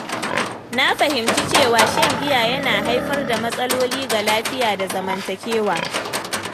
Na fahimci cewa shan giya yana haifar da matsaloli ga lafiya da zamantakewa.